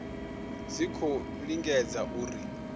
dzi tshi khou lingedza uri